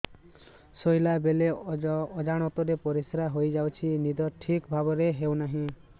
ଶୋଇଲା ବେଳେ ଅଜାଣତରେ ପରିସ୍ରା ହୋଇଯାଉଛି ନିଦ ଠିକ ଭାବରେ ହେଉ ନାହିଁ